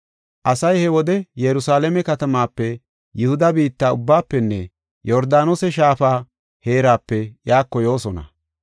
Asay he wode Yerusalaame katamaape, Yihuda biitta ubbaafenne Yordaanose Shaafa heerape iyako yoosona.